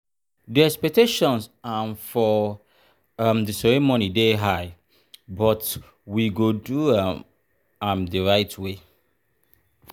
di expectations um for um di ceremony dey high but we go do um am the right way.